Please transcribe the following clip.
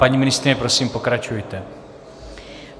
Paní ministryně, prosím, pokračujte.